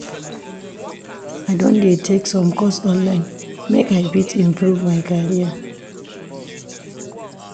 I don dey take some course online make I fit improve my career.